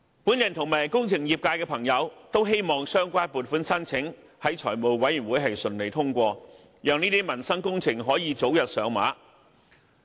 我及工程業界的朋友都希望相關的撥款申請在財委會能順利通過，讓這些民生工程能夠早日上馬。